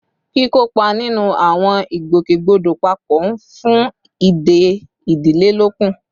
Kíkópa nínú àwọn ìgbòkègbodò papọ̀ ń fún ìdè ìdílé lókun